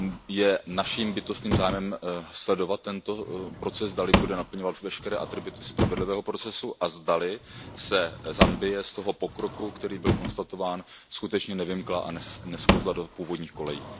Je naším bytostným zájmem sledovat tento proces, zdali bude naplňovat veškeré atributy spravedlivého procesu a zdali se Zambie z toho pokroku, který byl konstatován, skutečně nevymkla a nesklouzla do původních kolejí.